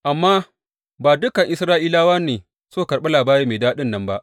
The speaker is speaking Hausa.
Amma ba dukan Isra’ilawa ne suka karɓi labari mai daɗin nan ba.